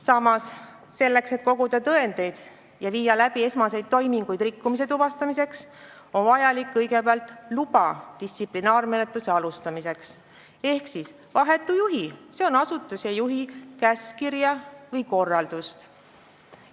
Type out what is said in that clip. Samas, selleks et koguda tõendeid ja viia läbi esmaseid toiminguid rikkumise tuvastamiseks, on vaja kõigepealt luba distsiplinaarmenetluse alustamiseks ehk vahetu juhi, s.o asutuse juhi käskkirja või korraldust.